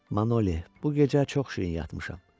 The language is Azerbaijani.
Manoli, bu gecə çox şirin yatmışam.